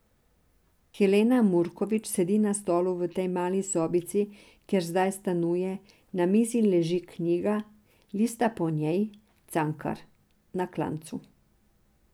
Helena Murkovič sedi na stolu v tej mali sobici, kjer zdaj stanuje, na mizi leži knjiga, lista po njej, Cankar, Na klancu.